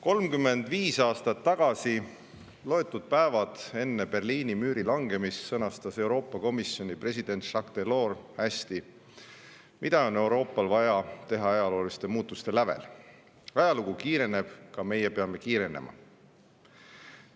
35 aastat tagasi, loetud päevad enne Berliini müüri langemist, sõnastas Euroopa Komisjoni president Jacques Delors hästi, mida on Euroopal vaja teha ajalooliste muutuste lävel: "Ajalugu kiireneb, ka meie peame kiirenema.